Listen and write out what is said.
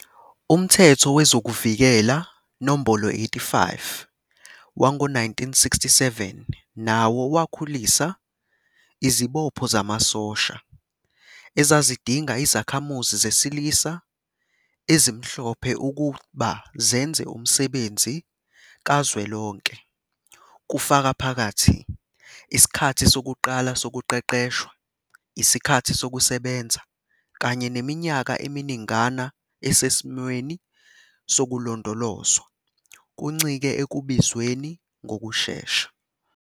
Umthetho Wezokuvikela, No. 85, wango-1967 nawo wakhulisa izibopho zamasosha, ezazidinga izakhamuzi zesilisa ezimhlophe ukuba zenze umsebenzi kazwelonke, kufaka phakathi isikhathi sokuqala sokuqeqeshwa, isikhathi sokusebenza, kanye neminyaka eminingana esesimweni sokulondolozwa, kuncike ekubizweni ngokushesha.